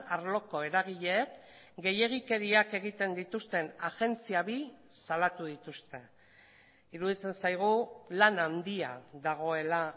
arloko eragileek gehiegikeriak egiten dituzten agentzia bi salatu dituzte iruditzen zaigu lan handia dagoela